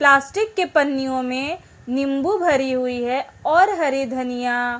plastic के पन्नियों में नीबू भरी हुई है और हरी धनिया --